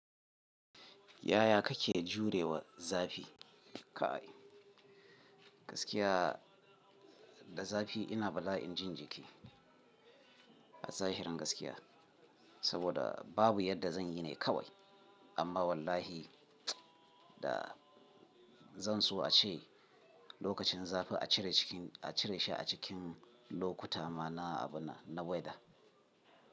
Yaya kake jurewa zafi? Kai gaskiya da zafi ina bala'in jin jiki a zahirin gaskiya, saboda babu yadda zan yi ne kawai. Amma wallahi da zan so a ce lokacin zafi a cire cikin a cire shi a cikin lokuta ma na abun nan, na weather.